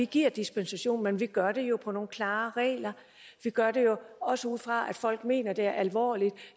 giver dispensation men vi gør det jo ud fra nogle klare regler vi gør det jo også ud fra at folk mener det alvorligt